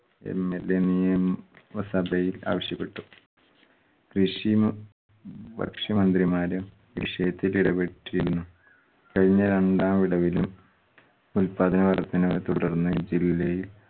MLA നിയമ സഭയിൽ ആവശ്യപ്പെട്ടു. കൃഷി മ് ഭക്ഷ്യ മന്ത്രിമാരും ഈ വിഷയത്തിൽ ഇടപെട്ടിരുന്നു. കഴിഞ്ഞ രണ്ടാം വിളവിലും ഉൽപ്പാദന വർദ്ധനവ് തുടർന്ന് ജില്ലയിൽ